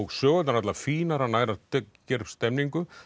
sögurnar allar fínar hann nær að gera stemningu